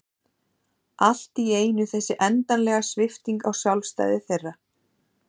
Allt í einu þessi endanlega svipting á sjálfstæði þeirra.